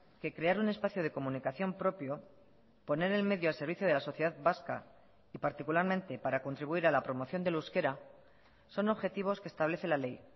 que crear un espacio de comunicación propio poner el medio al servicio de la sociedad vasca y particularmente para contribuir a la promoción del euskera son objetivos que establece la ley